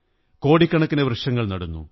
കോടിക്കണക്കിന് വൃക്ഷങ്ങൾ നടുന്നു